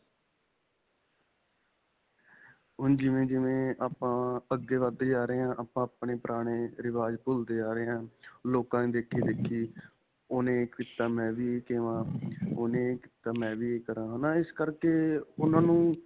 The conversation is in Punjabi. ਹੁਣ ਜਿਵੇਂ-ਜਿਵੇਂ ਆਪਾਂ ਅੱਗੇ ਵੱਧਦੇ ਜਾ ਰਹੇ ਹਾਂ, ਆਪਾਂ ਆਪਣੇ ਪੁਰਾਣੇ ਰਿਵਾਜ ਭੁੱਲਦੇ ਜਾ ਰਹੇ ਹਾਂ, ਲੋਕਾ ਦੇ ਦੇਖ਼ੇ-ਦੇਖੀ, ਓਨ੍ਨੇ ਕੀਤਾ, ਮੈਂ ਵੀ , ਉੰਨੇ ਇਹ ਕੀਤਾ ਮੇਂ ਵੀ ਕਰਾ. ਹੈਂ ਨਾ, ਇਸ ਕਰਕੇ ਉਨ੍ਹਾਂ ਨੂੰ.